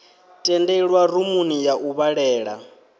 tendelwa rumuni ya u vhalela